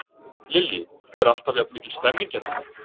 Lillý: Er alltaf jafn mikil stemning hérna?